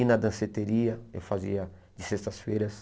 E na danceteria, eu fazia de sextas-feiras.